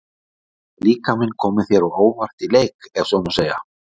Hefur líkaminn komið þér á óvart í leik, ef svo má segja?